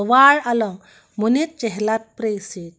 tovar along monit chehelat pre si--